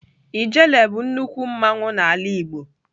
Ijele bụ nnukwu mmanwụ n'ala igbo